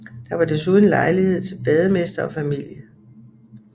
Der var desuden lejlighed til bademester og familie